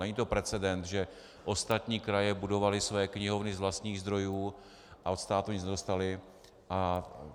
Není to precedent, že ostatní kraje budovaly své knihovny z vlastních zdrojů a od státu nic nedostaly.